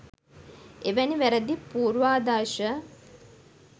එවැනි වැරදි පූර්වාදර්ශ